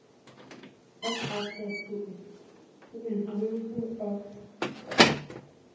of access to information act